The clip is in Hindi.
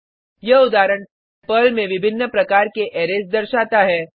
यह उदाहरण पर्ल में विभिन्न प्रकार के अरैज दर्शाता है